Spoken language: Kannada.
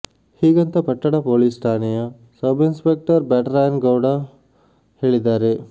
ಹೀಗಂತ ಪಟ್ಟಣ ಪೊಲೀಸ್ ಠಾಣೆಯ ಸಬ್ ಇನ್ಸ್ ಪೆಕ್ಟರ್ ಬ್ಯಾಟರಾಯಗೌಡ ಹೇಳಿದ್ದಾರೆ